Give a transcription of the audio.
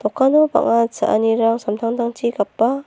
dokano bang·a cha·anirang samtangtangchi gapa.